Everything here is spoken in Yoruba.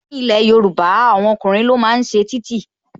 Ní ilé Yorùbá, àwọn ọkùnrin ni wọ́n máa ń ṣe títì